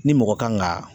Ni mɔgɔ kan ka